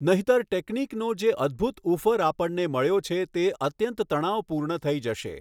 નહિતર ટેકનિકનો જે અદ્ભુત ઉફર આપણને મળ્યો છે તે અત્યંત તણાવપૂર્ણ થઈ જશે.